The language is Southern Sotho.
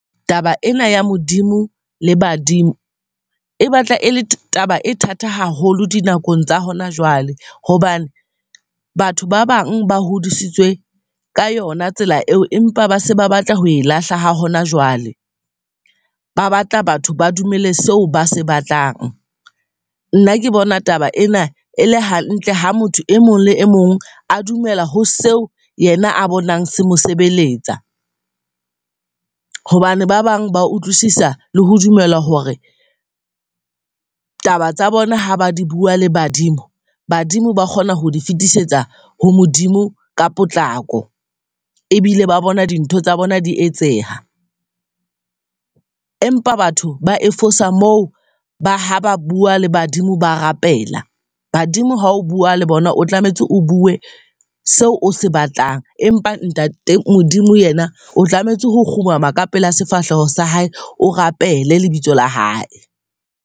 Taba ena ya Modimo le badimo e batla e le taba e thata haholo di nakong tsa hona jwale. Hobane batho ba bang ba hodisitswe ka yona tsela eo, empa ba se ba batla ho e lahla ha hona jwale. Ba batla batho ba dumele seo ba se batlang. Nna ke bona taba ena e le hantle, ha motho e mong le e mong a dumela ho seo yena a bonang se mosebeletsa. Hobane ba bang ba utlwisisa le ho dumela hore taba tsa bona ha ba di bua le badimo, badimo ba kgona ho di fetisetsa ho Modimo ka potlako ebile ba bona di ntho tsa bona di etseha. Empa batho ba e fosa moo, ba ha ba bua le badimo, ba rapela. Badimo hao o bua le bona, o tlametse o bue seo o se batlang. Empa ntate Modimo yena o tlametse ho kgumama ka pela sefahleho sa hae, o rapele lebitso la hae.